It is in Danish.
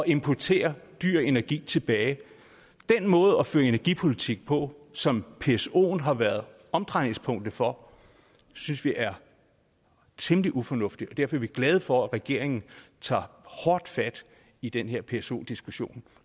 importere dyr energi tilbage den måde at føre energipolitik på som psoen har været omdrejningspunktet for synes vi er temmelig ufornuftig og derfor er vi glade for at regeringen tager hårdt fat i den her pso diskussion